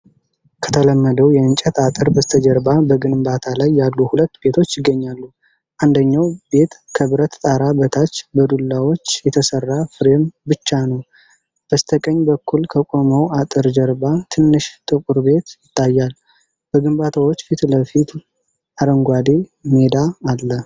ከተለመደው የእንጨት አጥር በስተጀርባ በግንባታ ላይ ያሉ ሁለት ቤቶች ይገኛሉ። አንደኛው ቤት ከብረት ጣራ በታች በዱላዎች የተሰራ ፍሬም ብቻ ነው። በስተቀኝ በኩል፣ ከቆመው አጥር ጀርባ ትንሽ ጥቁር ቤት ይታያል። በግንባታዎቹ ፊት ለፊት አረንጓዴ ሜዳ አለ።